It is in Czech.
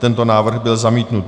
Tento návrh byl zamítnut.